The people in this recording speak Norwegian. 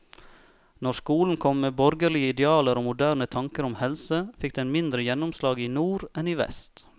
Når skolen kom med borgerlige idealer og moderne tanker om helse, fikk den mindre gjennomslag i nord enn i vest.